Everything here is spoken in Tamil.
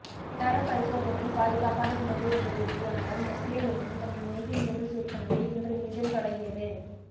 தரப் பரிசோதனையில் பாதுகாப்பான உணவு என்பது உறுதியானதால் நெஸ்ட்லே நிறுவனம் தனது மேகி நூடுல்ஸ் விற்பனையை இன்று மீண்டும் தொடங்கியது